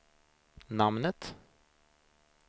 namnet